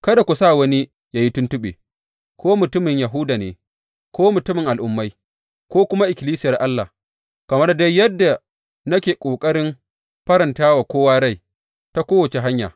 Kada ku sa wani yă yi tuntuɓe, ko mutumin Yahuda ne, ko mutumin Al’ummai ko kuma ikkilisiyar Allah kamar dai yadda nake ƙoƙarin faranta wa kowa rai, ta kowace hanya.